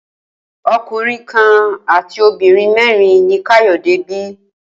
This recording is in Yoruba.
O̩kùnrin kan àti obìnrin mé̩rin ni Káyò̩dé bi